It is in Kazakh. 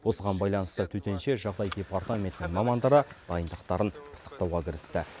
осыған байланысты төтенше жағдай департаментінің мамандары дайындықтарын пысықтауға кірісті